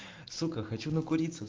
сука хочу накуриться